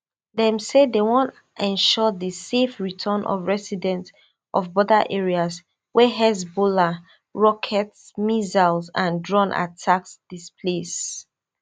dem say dem wan ensure di safe return of residents of border areas wey hezbollah rocket missile and drone attacks displace